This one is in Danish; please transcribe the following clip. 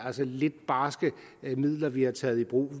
er sådan lidt barske midler vi har taget i brug